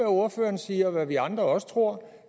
ordføreren siger er vi andre også tror